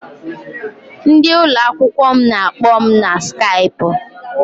Ndị ụlọakwụkwọ m na-akpọ m na Skaipụ.